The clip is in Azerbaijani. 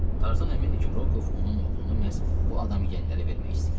Tarzan əmindir ki, Rokov onun oğlunu məhz bu adamiyənlərə vermək istəyirdi.